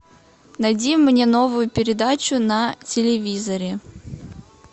найди мне новую передачу на телевизоре